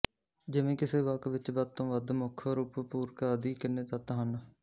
ਜਿਵੇਂ ਕਿਸੇ ਵਾਕ ਵਿੱਚ ਵੱਧ ਤੋਂ ਵੱਧ ਮੁੱਖ ਰੂਪ ਪੂਰਕ ਆਦਿ ਕਿੰਨੇ ਤੱਤ ਹਨ